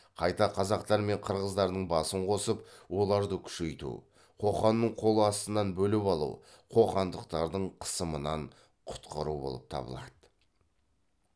қайта қазақтар мен қырғыздардың басын қосып оларды күшейту қоқанның қол астынан бөліп алу қоқандықтардың қысымынан құтқару болып табылады